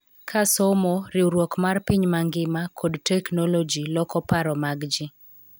Ka somo, riwruok mar piny mangima, kod teknoloji loko paro mag ji,